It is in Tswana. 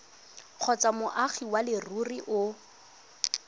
kgotsa moagi wa leruri o